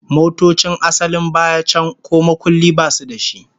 Motocin asalin baya can ko makulli basu da shi